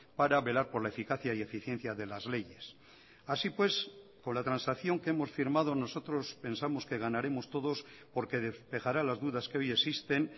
para velar por la eficacia y eficiencia de las leyes así pues con la transacción que hemos firmado nosotros pensamos que ganaremos todos porque despejará las dudas que hoy existen